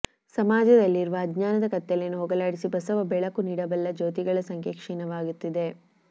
ಸಮಾಜದಲ್ಲಿರುವ ಅಜ್ಞಾನದ ಕತ್ತಲೆಯನ್ನು ಹೋಗಲಾಡಿಸಿ ಬಸವ ಬೆಳಕು ನೀಡಬಲ್ಲ ಜ್ಯೋತಿಗಳ ಸಂಖ್ಯೆ ಕ್ಷೀಣವಾಗುತ್ತಿದೆ